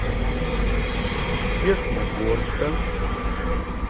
десногорска